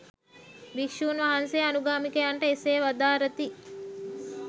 භික්‍ෂූන් වහන්සේ අනුගාමිකයන්ට එසේ වදාරති.